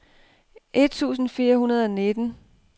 et tusind fire hundrede og nitten